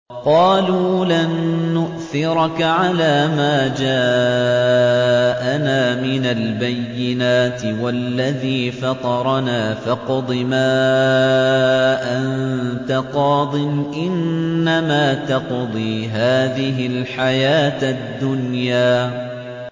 قَالُوا لَن نُّؤْثِرَكَ عَلَىٰ مَا جَاءَنَا مِنَ الْبَيِّنَاتِ وَالَّذِي فَطَرَنَا ۖ فَاقْضِ مَا أَنتَ قَاضٍ ۖ إِنَّمَا تَقْضِي هَٰذِهِ الْحَيَاةَ الدُّنْيَا